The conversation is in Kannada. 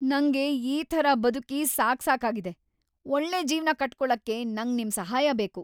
ನಂಗೆ ಈ ಥರ ಬದುಕಿ ಸಾಕ್ಸಾಕಾಗಿದೆ! ಒಳ್ಳೆ ಜೀವ್ನ ಕಟ್ಕೊಳಕ್ಕೆ ನಂಗ್ ನಿಮ್ ಸಹಾಯ ಬೇಕು!